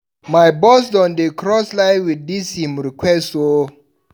My boss don dey cross line wit dis im request o.